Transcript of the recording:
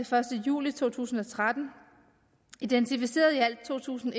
første juli to tusind og tretten identificeret i alt to tusind